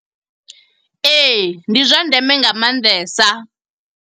Ee, ndi zwa ndeme nga maanḓesa.